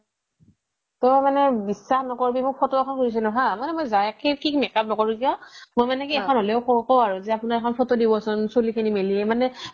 তাৰ মানে বিশ্বাস নকৰিবি মই photo এখন খুজিছিলোঁ হা মই যায় কেনেনে makeup নকৰোঁ কিয় মই মানে কি এখন হলেও আপোনাৰ photo দিব চোন চুলি খিনি মেলি